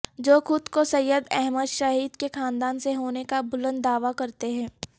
جو خود کو سید احمد شہید کے خاندان سے ہونے کا بلند دعوی کرتے تھے